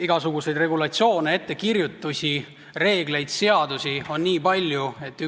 Igasuguseid regulatsioone, ettekirjutusi, reegleid ja seadusi on nii palju, et